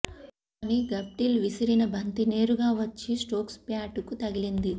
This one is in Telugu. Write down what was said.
కానీ గఫ్టిల్ విసిరిన బంతి నేరుగా వచ్చి స్టోక్స్ బ్యాటుకు తగిలింది